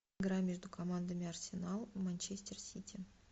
игра между командами арсенал манчестер сити